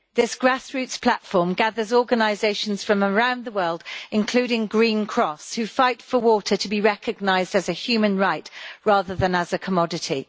This grassroots platform gathers organisations from around the world, including Green Cross, who fight for water to be recognised as a human right, rather than as a commodity.